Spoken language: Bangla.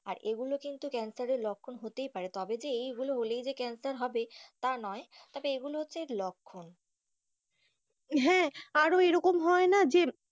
আর এই গুলো কিন্তু ক্যানসার এর লক্ষণ হতেই পারে তবে এই হলে হলেই যে ক্যান্সার হবে তা নয় তবে এগুলো হচ্ছে লক্ষণ হ্যাঁ আরও এইরকম হয় না যে,